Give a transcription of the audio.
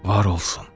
Var olsun.